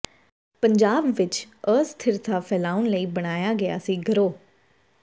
ਪੰਜਾਬ ਵਿਚ ਅਸਥਿਰਤਾ ਫੈਲਾਉਣ ਲਈ ਬਣਾਇਆ ਗਿਆ ਸੀ ਗਿਰੋਹ